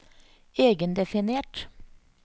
egendefinert